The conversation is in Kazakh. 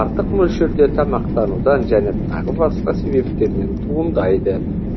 артық мөлшерде тамақтанудан және тағы басқа себептерден туындайды